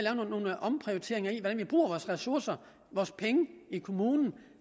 at vi bruger vores ressourcer vores penge i kommunen